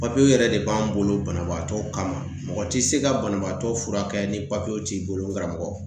Papiyew yɛrɛ de b'an bolo banabaatɔw kama, mɔgɔ ti se ka banabaatɔ furakɛ ni papiyew t'i bolo n karamɔgɔ .